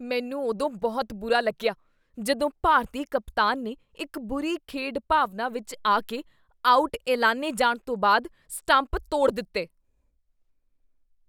ਮੈਨੂੰ ਉਦੋਂ ਬਹੁਤ ਬੁਰਾ ਲੱਗਿਆ ਜਦੋਂ ਭਾਰਤੀ ਕਪਤਾਨ ਨੇ ਇੱਕ ਬੁਰੀ ਖੇਡ ਭਾਵਨਾ ਵਿੱਚ ਆ ਕੇ ਆਊਟ ਐਲਾਨੇ ਜਾਣ ਤੋਂ ਬਾਅਦ ਸਟੰਪ ਤੋਡ਼ ਦਿੱਤੇ।